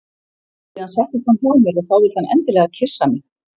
Síðan settist hann hjá mér og þá vildi hann endilega kyssa mig.